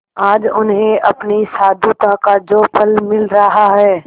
आज उन्हें अपनी साधुता का जो फल मिल रहा है